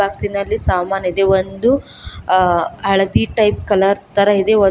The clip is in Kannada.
ಹಾಸಿನಲ್ಲಿ ಸಾಮಾನಿದೆ ಒಂದು ಹಳದಿ ಟೈಪ್ ಕಲರ್ ತರ ಇದೆ.